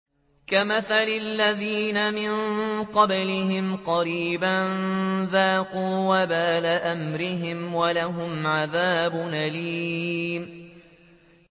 كَمَثَلِ الَّذِينَ مِن قَبْلِهِمْ قَرِيبًا ۖ ذَاقُوا وَبَالَ أَمْرِهِمْ وَلَهُمْ عَذَابٌ أَلِيمٌ